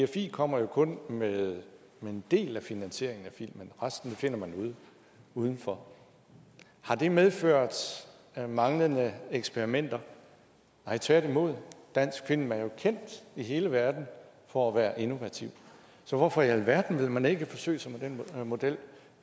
dfi kommer kun med en del af finansieringen af en film resten finder man udenfor har det medført manglende eksperimenter nej tværtimod dansk film er jo kendt i hele verden for at være innovativ så hvorfor i alverden vil man ikke forsøge sig med den model